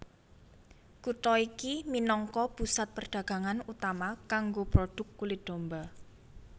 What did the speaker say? Kutha iki minangka pusat perdagangan utama kanggo prodhuk kulit domba